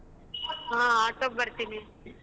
ಹಾ auto ಗ್ ಬರ್ತೀನಿ.